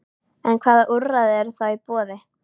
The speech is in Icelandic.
En hvaða úrræði eru þá í boði?